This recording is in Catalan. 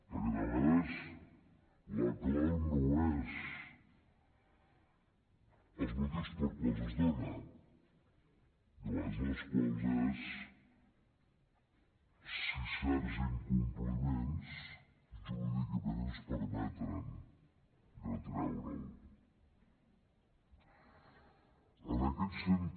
perquè de vegades la clau no és els motius pels quals es dona de vegades la clau és si certs incompliments jurídicament ens permeten retreure’l